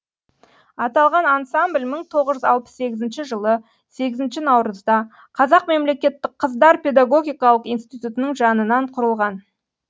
аталған ансамбль мың тоғыз жүз алпыс сегізінші жылы сегізінші наурызда қазақ мемлекеттік қыздар педагогикалық институтының жанынан құрылған